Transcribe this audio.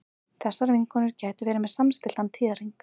þessar vinkonur gætu verið með samstilltan tíðahring